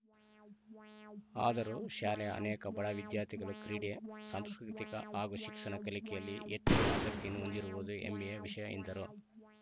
ಆದರೂ ಶಾಲೆಯ ಅನೇಕ ಬಡ ವಿದ್ಯಾರ್ಥಿಗಳು ಕ್ರೀಡೆ ಸಾಂಸ್ಕೃತಿಕ ಹಾಗೂ ಶಿಕ್ಷಣ ಕಲಿಕೆಯಲ್ಲಿ ಹೆಚ್ಚು ಆಸಕ್ತಿಯನ್ನು ಹೊಂದಿರುವುದು ಹೆಮ್ಮೆಯ ವಿಷಯ ಎಂದರು